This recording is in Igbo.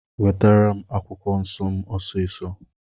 Nwetara m akwụkwọ nsọ m ọsisọ.